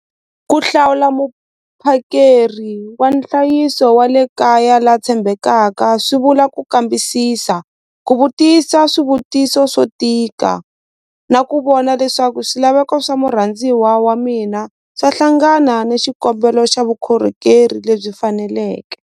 Ku hlawula muphakeri wa nhlayiso wa le kaya la tshembekaka swi vula ku kambisisa ku vutisa swivutiso swo tika na ku vona leswaku swilaveko swa murhandziwa wa mina swa hlangana ni xikombelo xa vukhorhokeri lebyi faneleke.